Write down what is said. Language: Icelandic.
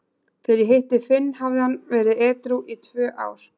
Þegar ég hitti Finn hafði hann verið edrú í tvö ár.